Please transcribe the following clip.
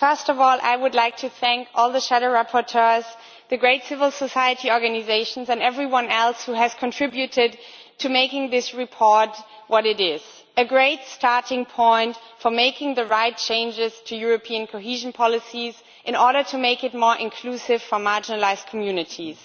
first of all I would like to thank all the shadow rapporteurs, the great civil-society organisations and everyone else who has contributed to making this report what it is a great starting point for making the right changes to European cohesion policy in order to make it more inclusive for marginalised communities